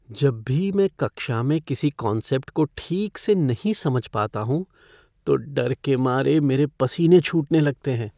जब भी मैं कक्षा में किसी कॉन्सेप्ट को ठीक से नहीं समझ पाता हूँ तो डर के मारे मेरे पसीने छूटने लगते हैं।